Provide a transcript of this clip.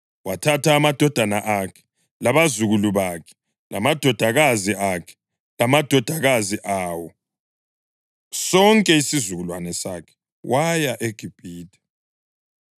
Wathatha amadodana akhe, labazukulu bakhe, lamadodakazi akhe lamadodakazi awo, sonke isizukulwane sakhe, waya eGibhithe.